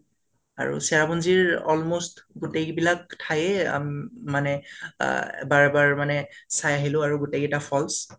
আৰু চেৰাপুঞ্জীৰ almost গোটেই বিলাক ঠাইএ উম মানে আহ বাৰ বাৰ মানে চাই আহিলা আৰু গোটেই কেইটা falls